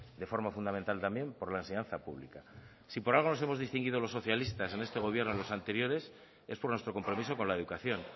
de forma fundamental también por la enseñanza pública si por algo nos hemos distinguido los socialistas en este gobierno y en los anteriores es por nuestro compromiso con la educación